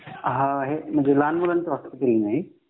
आहे म्हणजे लहान मुलांचा रुग्णालय आहे का?